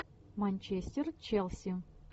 манчестер челси